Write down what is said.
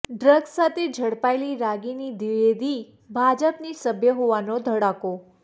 drugs સાથે ઝડપાયેલી રાગિની દ્વિવેદી ભાજપની સભ્ય હોવાનો ધડાકો